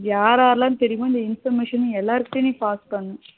யார் யாரெல்லாம் தெரியுமோ இந்த information நீ எல்லார் கிட்டையும் pass பண்ணு